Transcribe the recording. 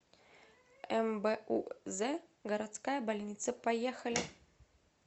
мбуз городская больница поехали